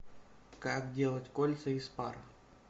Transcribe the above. как делать кольца из пара